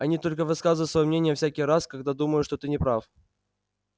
они только высказывают своё мнение всякий раз когда думают что ты не прав